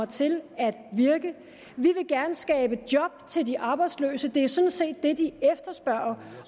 til at virke vi vil gerne skabe job til de arbejdsløse det er sådan set det de efterspørger